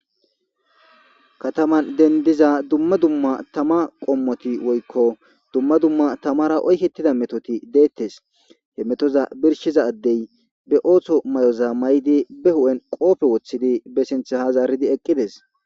kataman dendiza dumma dumma tama qommoti woykko dumma dumma tamara oykettida metoti deettes he metoza birshiza addey be ooththo may7oza may7di be hu7en qoope wothidi be sinthe hazaaridi eqqides